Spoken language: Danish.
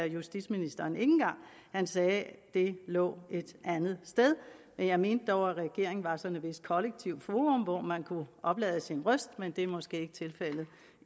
justitsministeren ikke engang han sagde at det lå et andet sted jeg mente dog at regeringen var sådan et vist kollektivt forum hvor man kunne oplade sin røst men det er måske ikke tilfældet